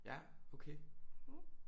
Ja okay